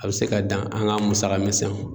A bɛ se ka dan an ka musaka misɛnw